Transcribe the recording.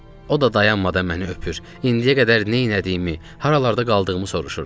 O da dayanmadan məni öpür, indiyə qədər neylədiyimi, haralarda qaldığımı soruşurdu.